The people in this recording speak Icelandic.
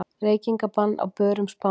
Reykingabann á börum Spánar